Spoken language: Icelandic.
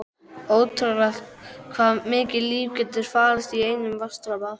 Ótrúlegt hvað mikið líf getur falist í einum vatnsdropa.